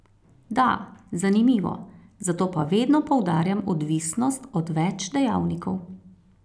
Da, zanimivo, zato pa vedno poudarjam odvisnost od več dejavnikov.